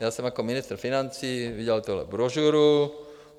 Já jsem jako ministr financí vydal tuhle brožuru.